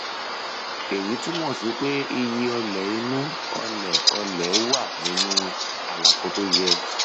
èyí túmọ sí pé iye ọlẹ inú ọlẹ ọlẹ wà nínú àlàfo tó yẹ